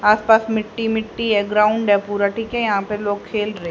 आस पास मिट्टी मिट्टी है ग्राउंड है पूरा ठीक है यहां पे लोग खेल र--